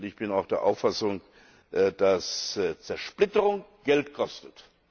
Und ich bin auch der Auffassung, dass Zersplitterung Geld kostet.